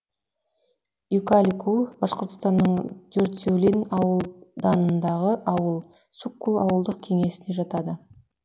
юкаликул башқұртстанның дюртюлин ауданындағы ауыл суккул ауылдық кеңесіне жатады